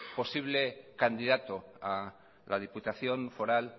posible candidato a la diputación foral